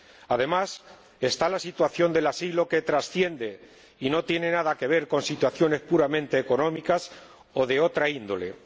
Además, está la cuestión del asilo, que trasciende y no tiene nada que ver con situaciones puramente económicas o de otra índole.